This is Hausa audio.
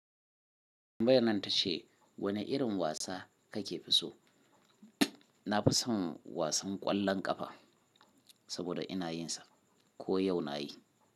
Tambayyanan ta ce wane irin wasa kake fi so. Na fi son wasan ƙwallon ƙafa saboda ina yinsa ko yau na yi.